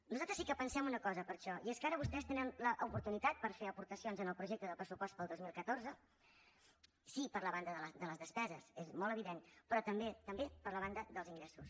nosaltres sí que pensem una cosa per això i és que ara vostès tenen l’oportunitat per fer aportacions en el projecte del pressupost per al dos mil catorze sí per la banda de les despeses és molt evident però també per la banda dels ingressos